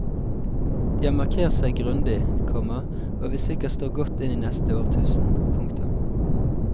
De har markert seg grundig, komma og vil sikkert stå godt inn i neste årtusen. punktum